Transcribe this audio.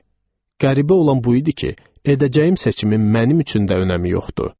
Qəribə olan bu idi ki, edəcəyim seçimin mənim üçün də önəmi yoxdur.